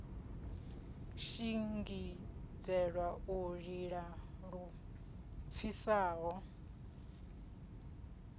shingizhela u lila lu pfisaho